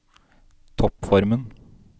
toppformen